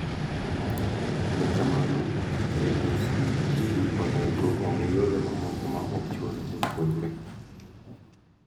Ne kamano, KICD onego ong'ii yore mamoko ma okchul ne jopuonjre